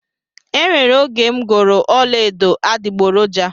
E nwere oge m goro ọla edo adiboroja